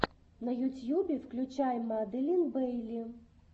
на ютьюбе включай маделин бейли